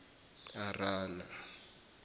arana